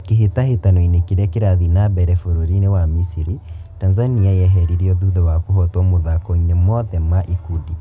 Kĩ hĩ tahĩ tanoinĩ kĩ rĩ a kĩ rathiĩ na mbere bũrũri-inĩ wa Misiri, Tanzania yeheririo thutha wa kũhotwo mũthako-inĩ mothe ma ikundi.